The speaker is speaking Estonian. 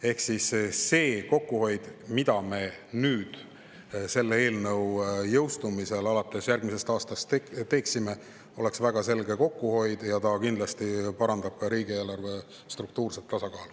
Ehk kokkuhoid selle eelnõu jõustumisel järgmisel aastal oleks väga selge ja kindlasti parandaks ka riigieelarve struktuurset tasakaalu.